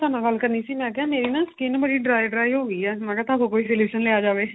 ਤੁਹਾਡੇ ਨਾਲ ਗੱਲ ਕਰਨੀ ਸੀ. ਮੈਂ ਕਿਹਾ ਮੇਰੀ ਨਾ skin ਬੜੀ dry dry ਹੋ ਗਈ ਏ ਮੈਂ ਕਿਹਾ ਤੁਹਾਡੇ ਕੋਲ solution ਲਿਆ ਜਾਵੇ